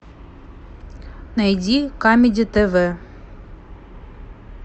найди камеди тв